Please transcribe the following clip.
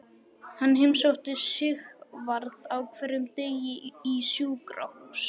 Hann heimsótti Sigvarð á hverjum degi í sjúkrahús.